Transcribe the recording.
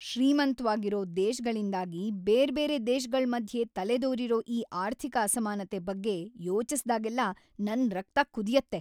ಶ್ರೀಮಂತ್ವಾಗಿರೋ ದೇಶ್ಗಳಿಂದಾಗಿ ಬೇರ್ಬೇರೆ ದೇಶಗಳ್‌ ಮಧ್ಯೆ ತಲೆದೋರಿರೋ ಈ ಆರ್ಥಿಕ ಅಸಮಾನತೆ ಬಗ್ಗೆ ಯೋಚಿಸ್ದಾಗೆಲ್ಲ ನನ್‌ ರಕ್ತ ಕುದಿಯತ್ತೆ.